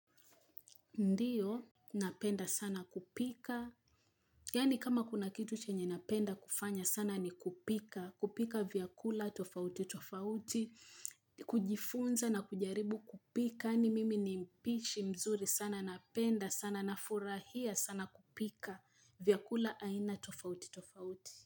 Ndiyo, napenda sana kupika, yani kama kuna kitu chenye napenda kufanya sana ni kupika, kupika vyakula tofauti tofauti, kujifunza na kujaribu kupika, yani mimi ni mpishi mzuri sana napenda sana nafurahia sana kupika vyakula aina tofauti tofauti.